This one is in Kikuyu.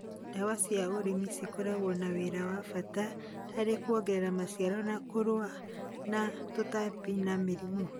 Ndawa cia ũrĩmi cikoragwo na wĩra wa bata harĩ kuongerera maciaro na kũrũa na tũtambi na mĩrĩmũ.